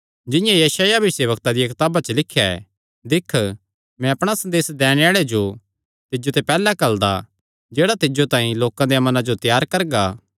जिंआं यशायाह भविष्यवक्ता दिया कताबा च लिख्या ऐ दिक्ख मैं अपणा संदेस दैणे आल़े जो तिज्जो ते पैहल्लैं घल्लदा जेह्ड़ा तिज्जो तांई लोकां देयां मनां जो त्यार करगा